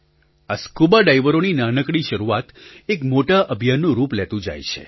આ સ્કુબાડાઇવરોની નાનકડી શરૂઆત એક મોટા અભિયાનનું રૂપ લેતું જાય છે